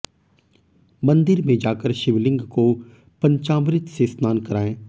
मंदिर में जाकर शिवलिंग को पंचामृत से स्नान करायें